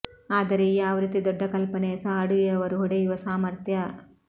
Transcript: ಆದರೆ ಈ ಆವೃತ್ತಿ ದೊಡ್ಡ ಕಲ್ಪನೆಯ ಸಹ ಅಡುಗೆಯವರು ಹೊಡೆಯುವ ಸಾಮರ್ಥ್ಯ